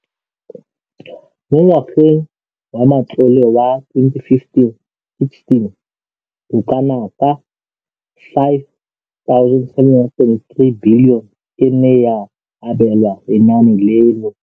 Mo ngwageng wa matlole wa 2015,16, bokanaka R5 703 bilione e ne ya abelwa lenaane leno.